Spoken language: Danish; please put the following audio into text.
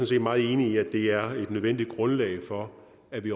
set meget enig i at det er et nødvendigt grundlag for at vi